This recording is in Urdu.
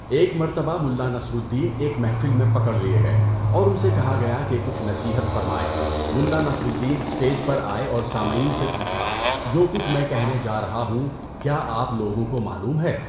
ایک مرتبہ ملا نصر الدین ایک محفل میں پکڑ لیے گئے اور ان سے کہا گیا کہ کچھ نصیحت فرمائیں، ملا نصر الدین اسٹیچ پر آئے اور سامعین سے پوچھا جو کچھ میں کہنے جا رہا ہوں کیا آپ لوگوں کو معلوم ہے؟